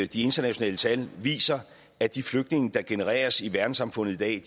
de internationale tal viser at de flygtninge der genereres i verdenssamfundet i dag